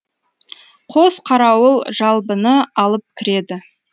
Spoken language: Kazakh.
қос қарауыл жалбыны алып кіреді